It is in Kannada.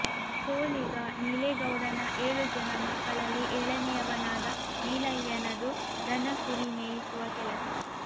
ಸೋಲಿಗ ನೀಲೇಗೌಡನ ಏಳು ಜನ ಮಕ್ಕಳಲ್ಲಿ ಏಳನೆಯವನಾದ ನೀಲಯ್ಯನದು ದನ ಕುರಿ ಮೇಯಿಸುವ ಕೆಲಸ